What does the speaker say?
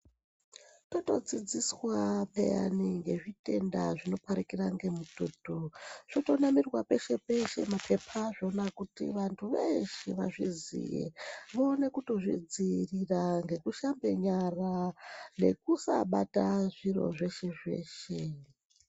Totodzodziswa peyani ngezvitenda zvinoparikira ngemututu zvotonamirwa peshe peshe mapepa azvona kuti vantu veshe vazviziye vaone kutozvidzivirira ngekushambe nyara nekusabata zviro zveshe zveshe.